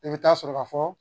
I bɛ taa sɔrɔ ka fɔ